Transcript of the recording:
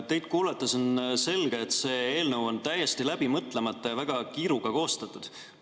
Teid kuulates on selge, et see eelnõu on täiesti läbi mõtlemata ja väga kiiruga koostatud.